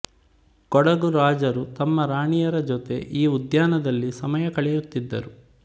ಕೊಡಗು ರಾಜರು ತಮ್ಮ ರಾಣಿಯರ ಜೊತೆ ಈ ಉದ್ಯಾನದಲ್ಲಿ ಸಮಯ ಕಳೆಯುತ್ತಿದ್ದರು